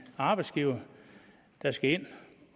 arbejdsgiver der skal ind